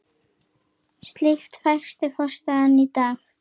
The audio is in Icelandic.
Slíkt þætti fásinna í dag.